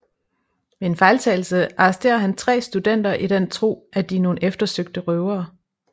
Ved en fejltagelse arresterer han tre studenter i den tro at de er nogen eftersøgte røvere